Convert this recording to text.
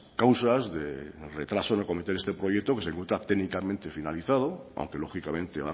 causas del retraso del comienzo de este proyecto pues se encuentra técnicamente finalizado aunque lógicamente